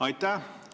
Aitäh!